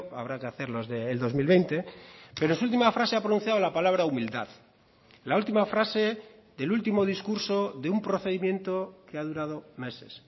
habrá que hacer los del dos mil veinte pero es su última frase ha pronunciado la palabra humildad la última frase del último discurso de un procedimiento que ha durado meses